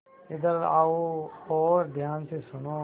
इधर आओ और ध्यान से सुनो